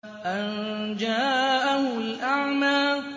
أَن جَاءَهُ الْأَعْمَىٰ